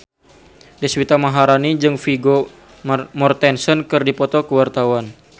Deswita Maharani jeung Vigo Mortensen keur dipoto ku wartawan